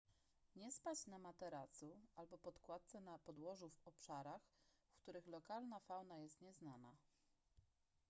nie spać na materacu albo podkładce na podłożu w obszarach w których lokalna fauna jest nieznana